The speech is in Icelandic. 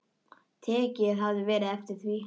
Tekið hefði verið eftir því.